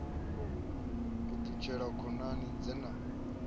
u ṱutshela khonani dze na